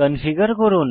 configure করুন